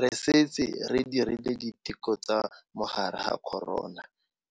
Re setse re dirile diteko tsa mogare wa corona